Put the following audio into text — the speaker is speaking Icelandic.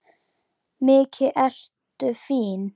Mikið ertu fín!